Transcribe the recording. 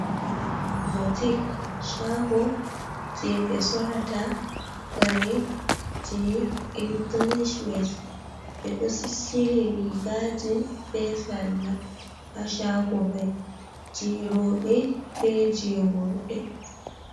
Botik shago je ɓe sorata kare je ingilish waya ɓeɗo sisili rigaji be salla ha shago mai je roɓe be je worɓe.